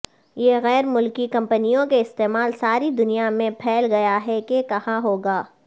یہ غیر ملکی کمپنیوں کے استعمال ساری دنیا میں پھیل گیا ہے کہ کہا ہوگا